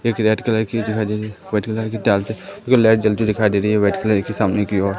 एक red colour की दिखाई दे री हैं व्हाईट कलर की टाइल्स है उधर लाइट जलती हुई दिखाई दे रही हैं व्हाईट कलर की सामने की ओर।